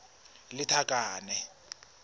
lethakane